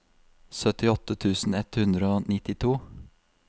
syttiåtte tusen ett hundre og nittito